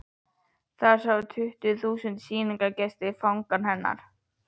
Þar sáu tugir þúsunda sýningargesta Fangann hennar.